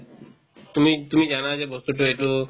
তুমি তুমি জানা যে বস্তুতো এইটো